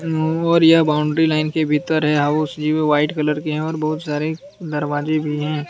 और यह boundary line के भीतर है हाउस जो है व्हाइट कलर के हैं और बहुत सारे दरवाजे भी हैं।